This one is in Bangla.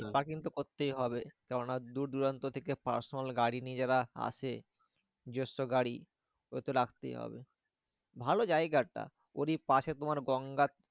Parking তো করতেই হবে। কেন না দূরদূরান্ত থেকে personal গাড়ি নিয়ে যারা আসে গাড়ি ওগুলোতো রাখতেই হবে। ভালো জায়গাটা ওরই পাশে তোমার গঙ্গা